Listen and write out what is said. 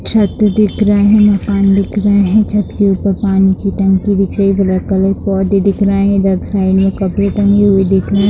छत दिख रहे है मकान दिख रहे है छत के ऊपर पानी की टंकी दिख रही है ब्लैक कलर पौधे दिख रहे हैं इधर साइड मे कपड़े दिख रहे है।